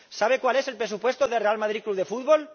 ¿Sabe cuál es el presupuesto del Real Madrid Club de Fútbol?